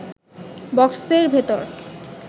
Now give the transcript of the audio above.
বক্সের ভেতর